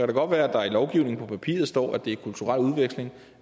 det godt være at der i lovgivningen på papiret står at det er kulturel udveksling